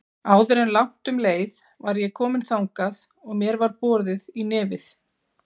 Áður en langt um leið var ég komin þangað og mér var boðið í nefið.